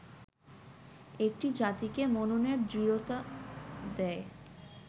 একটি জাতিকে মননের দৃঢ়তা দেয়